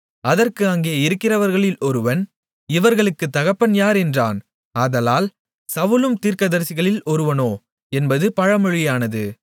அதற்கு அங்கே இருக்கிறவர்களில் ஒருவன் இவர்களுக்குத் தகப்பன் யார் என்றான் ஆதலால் சவுலும் தீர்க்கதரிசிகளில் ஒருவனோ என்பது பழமொழியானது